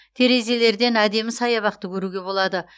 терезелерден әдемі саябақты көруге болады